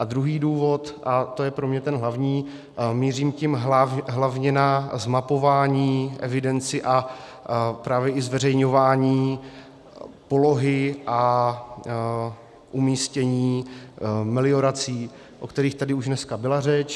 A druhý důvod, a to je pro mě ten hlavní, mířím tím hlavně na zmapování, evidenci a právě i zveřejňování polohy a umístění meliorací, o kterých tady už dneska byla řeč.